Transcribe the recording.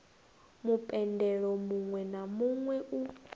mupendelo muwe na muwe u